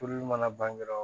mana ban dɔrɔn